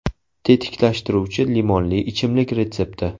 Tetiklashtiruvchi limonli ichimlik retsepti.